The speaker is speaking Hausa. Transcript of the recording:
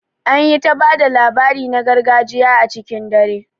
An yi ta ba da labari na gargajiya a cikin dare